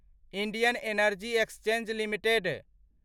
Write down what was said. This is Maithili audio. Indian energy exchange limited